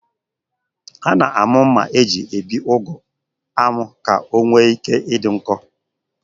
A na-amụ mma eji ebi ụgụ amụ ka o nwee ike idị nkọ.